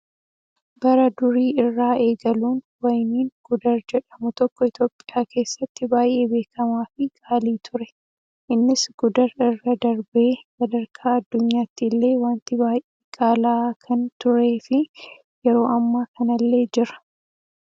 Bara durii irraa eegaluun wayiniin gudar jedhamu tokko Itoophiyaa keessatti baay'ee beekamaa fi qaalii ture. Innis gudar irra darbee sadarkaa addunyaatti illee wanti baay'ee qaala'aa kan turee fi yeroo ammaa kanallee jira.